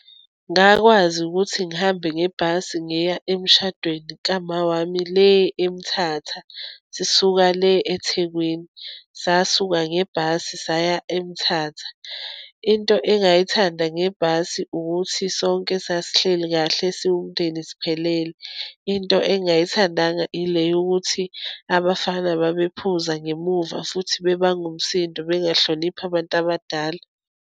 Ngakwazi ukuthi ngihambe ngebhasi ngiya emshadweni ka Ma wami le eMthatha, sisuka le eThekwini. Sasuka ngebhasi saya eMthatha. Into engayithanda ngebhasi ukuthi sonke sasihleli kahle siwumndeni, siphelele. Into engayithandanga, ile yokuthi abafana babephuza ngemuva, futhi bebange umsindo, bengahloniphi abantu abadala.